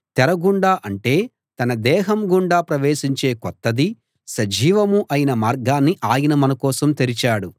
తెర గుండా అంటే తన దేహం ద్వారా ప్రవేశించే కొత్తదీ సజీవమూ అయిన మార్గాన్ని ఆయన మనకోసం తెరిచాడు